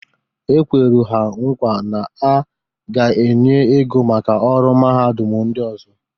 E kweru ha nkwa na a ga-enye ego maka ọrụ mahadum ndị ọzọ.